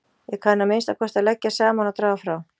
Ég kann að minnsta kosti að leggja saman og draga frá